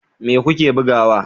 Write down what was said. Me kuke bugawa?